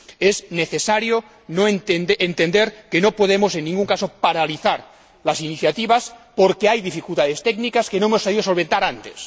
Es necesario entender que no podemos en ningún caso paralizar las iniciativas porque hay dificultades técnicas que no hemos sabido solventar antes.